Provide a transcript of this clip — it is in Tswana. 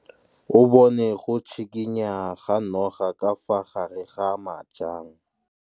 O bone go tshikinya ga noga ka fa gare ga majang.